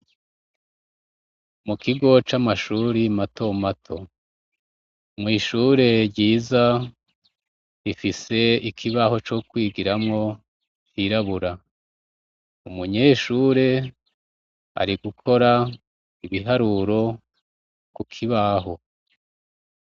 Mu kigo c'amashuri mato mato. Mw'ishure ryiza ifise ikibaho co kwigiramwo cirabura. Umunyeshure ari gukora ibiharuro ku kibaho.